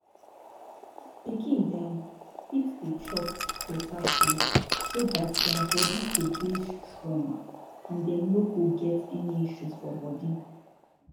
pikin dem fit dey chop correct beta food so dat dia bodi go dey strong and dem no go get any issues for bodi